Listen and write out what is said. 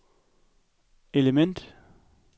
element